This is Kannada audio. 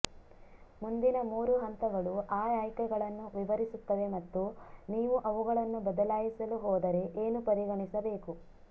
ಮುಂದಿನ ಮೂರು ಹಂತಗಳು ಆ ಆಯ್ಕೆಗಳನ್ನು ವಿವರಿಸುತ್ತವೆ ಮತ್ತು ನೀವು ಅವುಗಳನ್ನು ಬದಲಾಯಿಸಲು ಹೋದರೆ ಏನು ಪರಿಗಣಿಸಬೇಕು